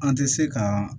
An tɛ se ka